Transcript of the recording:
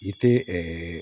I tɛ